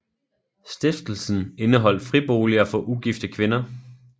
Stiftelsen indeholdt friboliger for ugifte kvinder